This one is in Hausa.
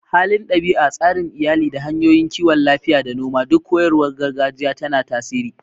Halin ɗabi'a, tsarin iyali, da hanyoyin kiwon lafiya da noma duk koyarwar gargajiya tana tasiri.